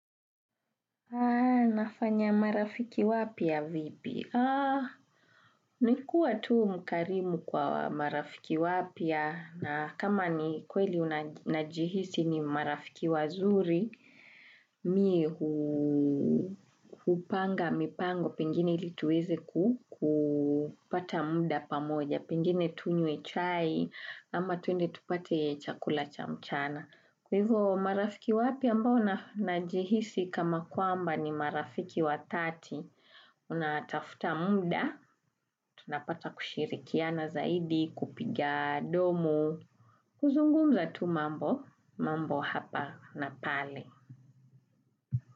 Nafanya marafiki wapya vipi? Nikuwa tu mkarimu kwa marafiki wapya na kama ni kweli unajihisi ni marafiki wazuri, mi hupanga mipango pengine ili tuweze kupata muda pamoja, pengine tunywe chai ama tuende tupate chakula chamchana. Kwa hivyo marafiki wapya ambao najihisi kama kwamba ni marafiki wa 3, unatafuta munda, tunapata kushirikia na zaidi, kupiga, domu, kuzungumza tu mambo, mambo hapa na pale.